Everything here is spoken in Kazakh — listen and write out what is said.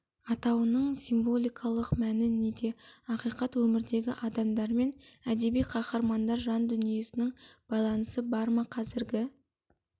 атауының символикалық мәні неде ақиқат өмірдегі адамдар мен әдеби қаһармандар жан дүниесінің байланысы бар ма қазіргі